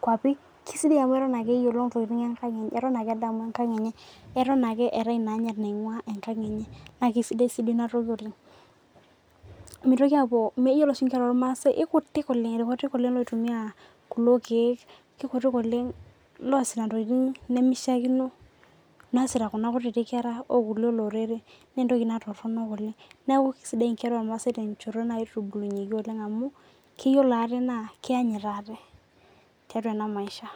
kwapi na eton ake edamu enkang enye eton ake eetae inaanyit naingua enkang enye na kesidai inatoki amu mitoki yiolo oshi nkera ormaasai na mitoki kekutik oshi loitumia irkiek loosita ntokitin nimishaakino naasita kuja kera okulie oreren na entoki toronok neaku kesidai nkera ormaasa tenkoitoi naitubulunyeki amu keyiolo ate na keanyut ate tiatua enamaisha